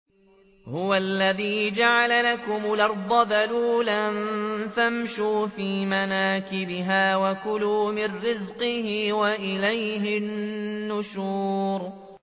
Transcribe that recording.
هُوَ الَّذِي جَعَلَ لَكُمُ الْأَرْضَ ذَلُولًا فَامْشُوا فِي مَنَاكِبِهَا وَكُلُوا مِن رِّزْقِهِ ۖ وَإِلَيْهِ النُّشُورُ